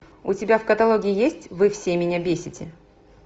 у тебя в каталоге есть вы все меня бесите